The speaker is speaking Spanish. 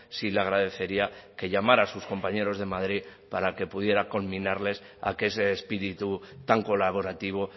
sí le agradecería que llamara a sus compañeros de madrid para que pudiera conminarles a que ese espíritu tan colaborativo